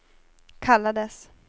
kallades